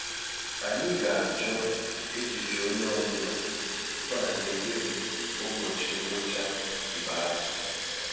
Ànyị ga-achọ echiche ònye ọ bụla tupu anyị ekpebi ụbọchị ngwụcha ikpeazụ